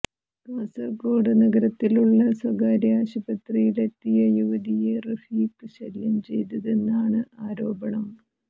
കാസര്കോട് നഗരത്തിലുള്ള സ്വകാര്യ ആശുപത്രിയിലെത്തിയ യുവതിയെ റഫീഖ് ശല്യം ചെയ്തതെന്നാണ് ആരോപണം